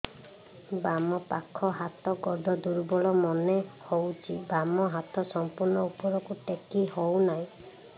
ବାମ ପାଖ ହାତ ଗୋଡ ଦୁର୍ବଳ ମନେ ହଉଛି ବାମ ହାତ ସମ୍ପୂର୍ଣ ଉପରକୁ ଟେକି ହଉ ନାହିଁ